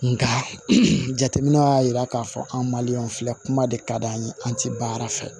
Nka jateminɛ y'a yira k'a fɔ an filɛ kuma de ka d'an ye an tɛ baara fɛ